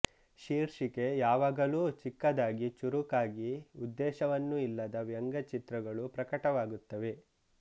ಶೀರ್ಷಿಕೆ ಯಾವಾಗಲೂ ಚಿಕ್ಕದಾಗಿ ಚುರುಕಾಗಿ ಉದ್ದೇಶವನ್ನು ಇಲ್ಲದ ವ್ಯಂಗ್ಯ ಚಿತ್ರಗಳೂ ಪ್ರಕಟವಾಗುತ್ತವೆ